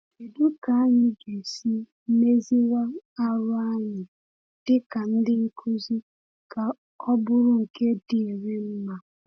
Kédú ka anyị ga-esi méziwá àrụ́ anyị díkà ndị nkuzi ka ọ bụrụ nke dírị mma?